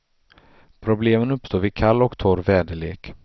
Problemen uppstår vid kall och torr väderlek.